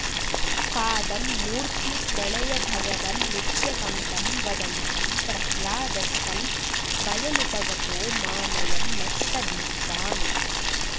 पादं मूर्ध्नि प्रणय भगवन्नित्यकम्पं वदन्तं प्रह्लादस्तं स्वयमुपगतो मानयन्नस्तवीत्त्वाम्